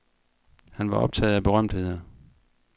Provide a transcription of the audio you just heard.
Han var optaget af berømtheder.